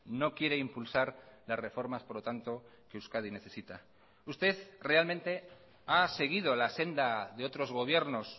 no quiere impulsar las reformas por lo tanto que euskadi necesita usted realmente ha seguido la senda de otros gobiernos